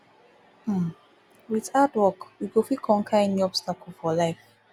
um wit hard work we go fit conquer any obstacle for life